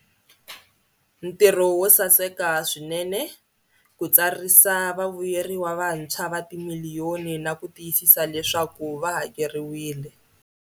Ntirho wo saseka swinene ku tsarisa vavuyeriwa vantshwa va timiliyoni na ku tiyisisa leswaku va hakeriwile.